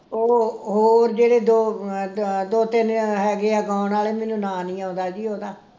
ਉਹ ਹੋਰ ਜਿਹੜੇ ਦੋ ਅਮ ਦੋ ਤਿੰਨ ਹੈਗੇ ਆ ਗਾਉਣ ਵਾਲੇ ਮੈਨੂੰ ਨਾਂ ਨੀ ਆਉਂਦਾ ਜੀ ਉਹਦਾ